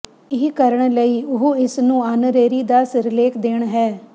ਇਹ ਕਰਨ ਲਈ ਉਹ ਇਸ ਨੂੰ ਆਨਰੇਰੀ ਦਾ ਸਿਰਲੇਖ ਦੇਣ ਹੈ